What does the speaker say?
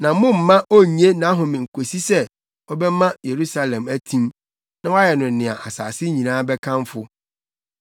na mommma onnye nʼahome kosi sɛ, ɔbɛma Yerusalem atim na wayɛ no nea asase nyinaa bɛkamfo.